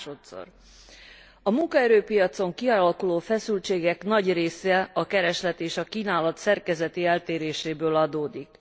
Másodszor a munkaerőpiacon kialakuló feszültségek nagy része a kereslet és a kínálat szerkezeti eltéréséből adódik.